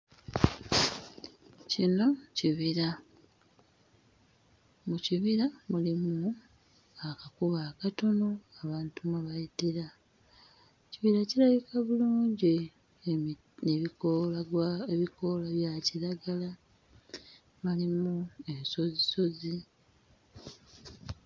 Kino kibira mu kibira mulimu akakubo akatono abantu mwe bayitira ekibira kirabika bulungi emi ebikoola gwa ebikoola bya kiragala malimu ensozisozi.